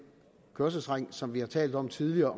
kørselsring som vi har talt om tidligere